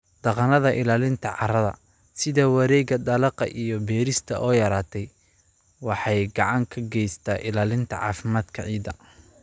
Dhaqannada ilaalinta carrada, sida wareegga dalagga iyo beerista oo yaraatay, waxay gacan ka geystaan ilaalinta caafimaadka ciidda.